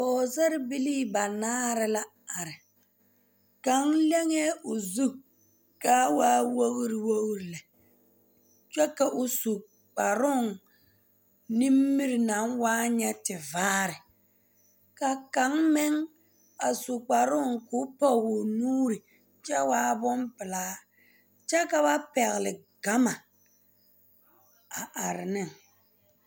Pɔgesarrebilii banaare la are kaŋ leŋee o zu ka a waa wogre wogre lɛ kyɛ ka o su kparooŋ nimiri naŋ waa nyɛ tevaare ka kaŋ meŋ a su kparoo k'o pɔge o nuuri kyɛ waa bompelaa kyɛ ka ba pɛgle gama a are ne.